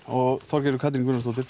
og Þorgerður Katrín Gunnarsdóttir